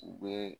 U bɛ